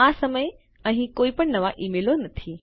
આ સમયે અહીં કોઈપણ નવા ઈમેલો નથી